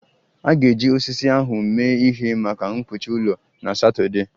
A ga-eji osisi ahụ mee ihe maka mkpuchi ụlọ na Satọdee